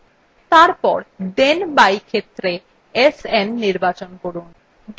তারপর then by ক্ষেত্রে sn নির্বাচন করুন